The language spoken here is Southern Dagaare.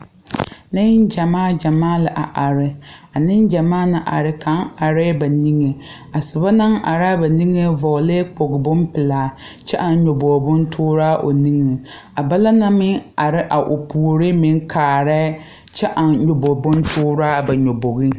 Neŋ gyɛmaa gyɛmaa la a are a neŋ gyamaa na are kaŋ areɛɛ ba niŋeŋ a sobo naŋ araa ba niŋeŋ vɔɔlɛɛ kpog bonpilaa a aŋ nyobogre bontooraa o niŋeŋ a balaŋ na meŋ na are a o puoriŋ meŋ kaarɛɛ kyɛ aŋ nyoboge bontooraa ba nyobogeŋ.